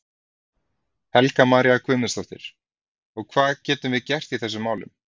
Helga María Guðmundsdóttir: Og hvað getum við gert í þessum málum?